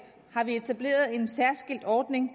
har vi etableret en særskilt ordning